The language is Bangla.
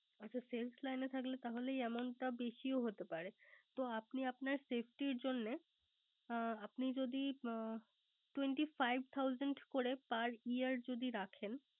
হ্যা Sales line এ থাকলে তাহলে এই Amount বেশিও হতে পারে। তাহলে আপনি আপনার Safety জন্যে আপনি যদি Twenty five Thousand করে Per year যদি রাখেন